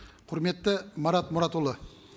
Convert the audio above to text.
құрметті марат мұратұлы